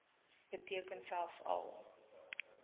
beteken selfs al